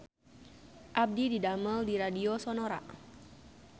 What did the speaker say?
Abdi didamel di Radio Sonora